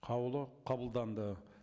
қаулы қабылданды